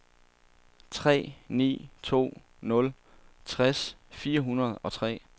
tre ni to nul tres fire hundrede og tre